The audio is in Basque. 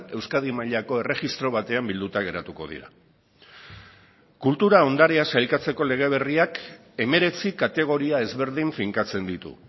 euskadi mailako erregistro batean bilduta geratuko dira kultura ondarea sailkatzeko lege berriak hemeretzi kategoria ezberdin finkatzen ditu